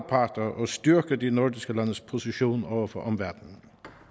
parter og styrker de nordiske landes position over for omverdenen